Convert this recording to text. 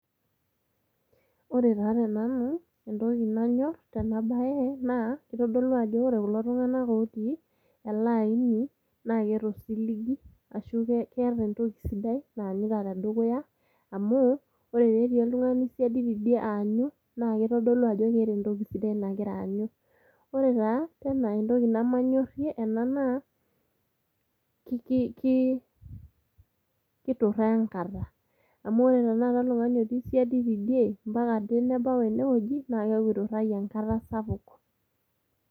Ore taa tenaa entoki nanyor tena bae naa kitodolu ajo ore kulo tunganak otii ele aini naa keeta osiligi ashu keeta entoki sidai naanyita tedukuya. Amu ore tenetii oltungani siadi tidie aanyu naa kitodolu ajo keeta entoki sidai nagira aanyu. Ore taa entoki tena nemanyorie naa ki kituraa enkata , amu tenakata oltungani otii siadi tidie ompaka ade nebau ene wueji naa keaku iturayie enkata sapuk.